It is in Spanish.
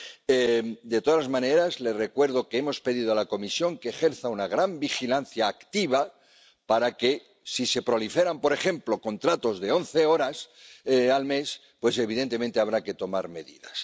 En cualquier caso, les recuerdo que hemos pedido a la Comisión que ejerza una gran vigilancia activa para que, si proliferan, por ejemplo, contratos de once horas al mes, pues evidentemente habrá que tomar medidas.